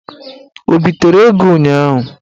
O bitere ego ụnyaahụ?